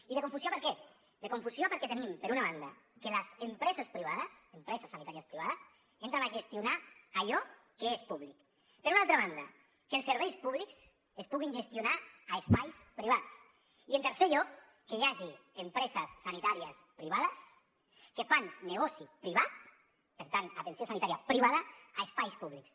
i de confusió per què de confusió perquè tenim per una banda que les empreses privades empreses sanitàries privades entren a gestionar allò que és públic per una altra banda que els serveis públics es puguin gestionar a espais privats i en tercer lloc que hi hagi empreses sanitàries privades que fan negoci privat per tant atenció sanitària privada a espais públics